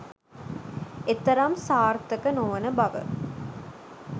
එතරම් සාර්ථක නොවන බව